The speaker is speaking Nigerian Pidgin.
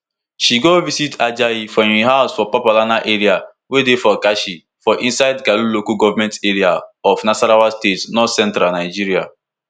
she go visit ajayi for im house for papalana area wey dey for karshi for inside karu local goment area of nasarawa state northcentral nigeria